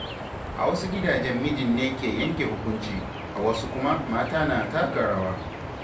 A wasu gidajen mijin ne ke yanke hukunci, a wasu kuma mata ma na taka rawa